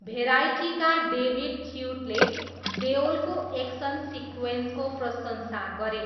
भेराइटीका David च्युटले देओलको action सिक्वेन्सको प्रशंसा गरे।